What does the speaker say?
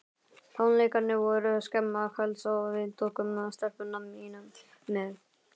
Tónleikarnir voru snemma kvölds og við tókum stelpuna mína með.